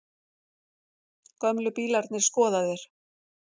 Gömlu bílarnir skoðaðir